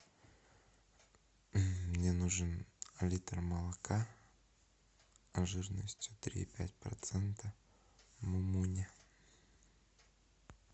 мне нужен литр молока жирностью три и пять процента мумуня